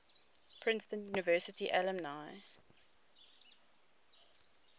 princeton university alumni